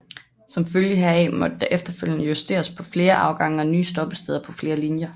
Som følge heraf måtte der efterfølgende justeres med flere afgange og nye stoppesteder på flere linjer